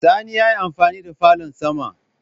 Sani ya yi amfani da falon sama